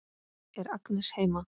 Er Agnes heima?